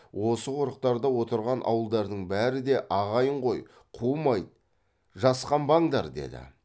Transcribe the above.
осы қорықтарда отырған ауылдардың бәрі де ағайын ғой қумайды жасқанбаңдар деді